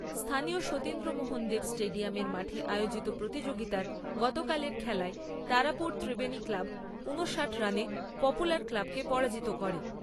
স্থানীয় সতীন্দ্রমোহন দেব স্টেডিয়ামের মাঠে আয়োজিত প্রতিযোগিতার গতকালের খেলায় তারাপুর ত্রিবেণী ক্লাব উনষাট রানে পপুলার ক্লাবকে পরাজিত করে।